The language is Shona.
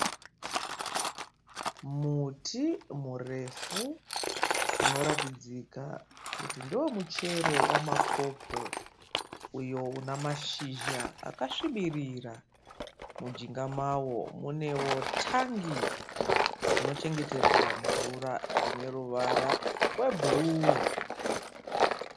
Muti murefu unoratidzika kuti ndewemuchero wemapopo uyo unamashizha akasvibirira mujinga mawo munewo tangi rinochengeterwa mvura rine ruvara rwebhuruu